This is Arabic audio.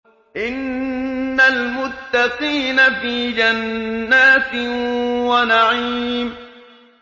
إِنَّ الْمُتَّقِينَ فِي جَنَّاتٍ وَنَعِيمٍ